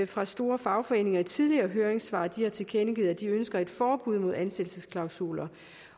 fra store fagforeninger i tidligere høringssvar at de har tilkendegivet at de ønsker et forbud mod ansættelsesklausuler